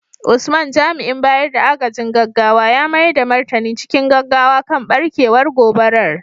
Usman, jami’in bayar da agajin gaggawa ya mayar da martani cikin gaggawa kan barkewar gobarar.